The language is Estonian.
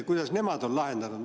Kuidas nemad on lahendanud?